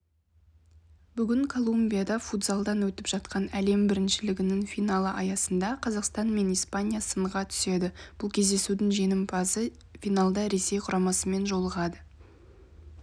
бүгін колумбияда футзалдан өтіп жатқан әлем біріншілігінің финалы аясында қазақстан мен испания сынға түседі бұл кездесудің жеңімпазы финалда ресей құрамасымен жолығады